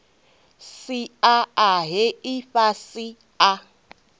sia a he ifhasi a